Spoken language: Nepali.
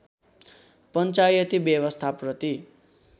पञ्चायती व्यवस्थाप्रति